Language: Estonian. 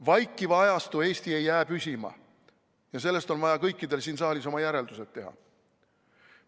Vaikiva ajastu Eesti ei jää püsima ja sellest on vaja kõikidel siin saalis oma järeldused teha.